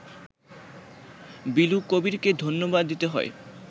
বিলু কবীরকে ধন্যবাদ দিতে হয়